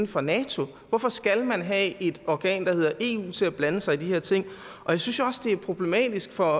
for nato hvorfor skal man have et organ der hedder eu til at blande sig i de her ting jeg synes jo også det er problematisk for